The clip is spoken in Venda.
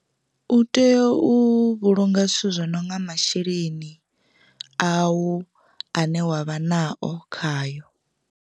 U tea u vhulunga zwithu zwi no nga masheleni a u ane wavha nao khayo.